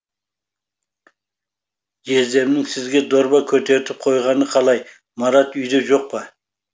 жездемнің сізге дорба көтертіп қойғаны қалай марат үйде жоқ па